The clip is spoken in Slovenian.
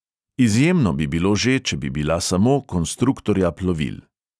Izjemno bi bilo že, če bi bila samo konstruktorja plovil.